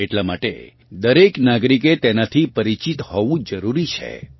એટલાં માટે દરેક નાગરિકે તેનાથી પરિચિત હોવું જરૂરી છે